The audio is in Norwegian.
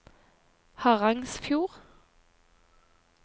Harangsfjord